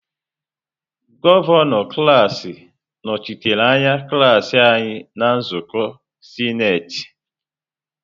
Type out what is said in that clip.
Gọvanọ klaasị nọchitere anya klaasị anyị na nzukọ sinetị.